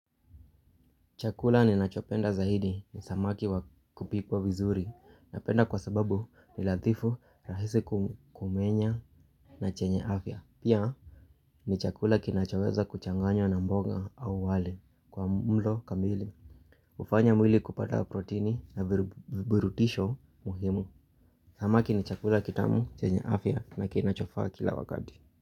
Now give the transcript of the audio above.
Chakula ninachopenda zaidi ni samaki wakupikwa vizuri napenda kwa sababu ni lathifu rahisi kumenya na chenye afya. Pia ni chakula kinachoweza kuchanganywa na mboga au wali kwa mlo kamili. Hufanya mwili kupata protini na virutubisho muhimu. Samaki ni chakula kitamu chenye afya na kinachofaa kila wakati.